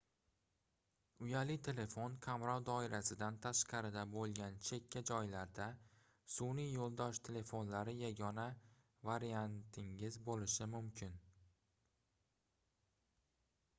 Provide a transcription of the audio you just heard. uyali telefon qamrov doirasidan tashqarida boʻlgan chekka joylarda sunʼiy yoʻldosh telefonlari yagona variantingiz boʻlishi mumkin